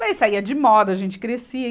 Mas saía de moda, a gente crescia.